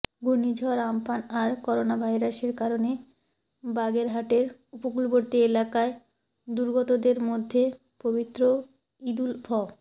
ঘূর্ণিঝড় আম্পান আর করোনাভাইরাসের কারণে বাগেরহাটের উপকূলবর্তী এলাকায় দুর্গতদের মধ্যে পবিত্র ঈদুল ফ